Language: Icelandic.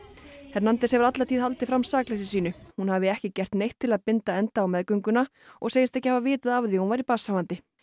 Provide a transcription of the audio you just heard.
hernández hefur alla tíð haldið fram sakleysi sínu hún hafi ekki gert neitt til að binda enda á meðgönguna og segist ekki hafa vitað af því að hún væri barnshafandi